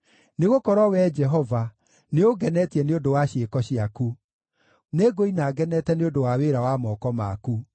Nĩgũkorwo, Wee Jehova, nĩũngenetie nĩ ũndũ wa ciĩko ciaku; nĩngũina ngenete nĩ ũndũ wa wĩra wa moko maku.